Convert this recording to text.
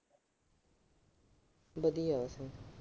ਵਧੀਆ ਬਸ।